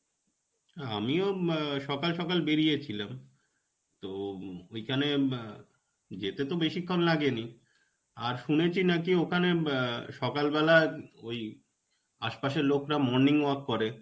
না আমিও ম সকাল সকাল বেড়িয়েছিলাম. তো ঐখানে ম যেতে তো বেশিক্ষণ লাগেনি. আর শুনেছি নাকি ওখানে ম আ সকালবেলায় ওই আশপাশের লোকরা morning walk করে.